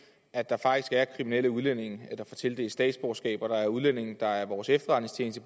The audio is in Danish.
at der faktisk er kriminelle udlændinge der får tildelt statsborgerskab og at der er udlændinge der af vores efterretningstjeneste